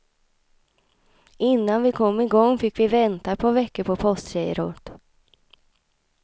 Innan vi kom i gång fick vi vänta ett par veckor på postgirot.